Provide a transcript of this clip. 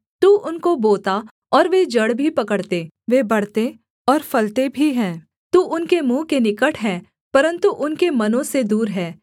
तू उनको बोता और वे जड़ भी पकड़ते वे बढ़ते और फलते भी हैं तू उनके मुँह के निकट है परन्तु उनके मनों से दूर है